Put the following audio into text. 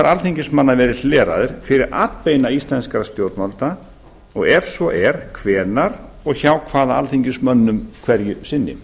alþingismanna verið hleraðir fyrir atbeina íslenskra stjórnvalda og ef svo er hvenær og hjá hvaða alþingismönnum hverju sinni